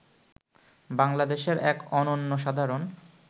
বাংলাদেশের এক অনন্য সাধারণ